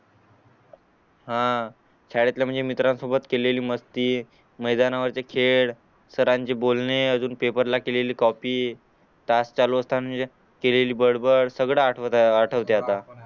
हा शाळेतल्या म्हणजे मित्रां सोबत केलेली मस्ती मैदाना वरचे खेळ सरांशी बोलणे अजून पेपर ला केलेली कॉपी तास चालू असताना म्हणजे केलेली बडबड सगड आठवतंय आता